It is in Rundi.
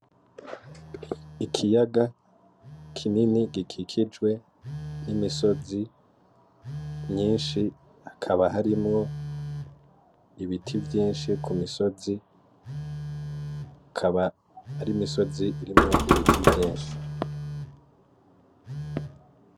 Ikiyaga kinini gikikijwe n'imisozi myinshi hakaba harimwo ibiti vyinshi kumisozi, akaba arimisozi irimwo ibiti vyinshi.